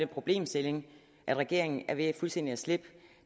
problemstilling at regeringen er ved fuldstændig at slippe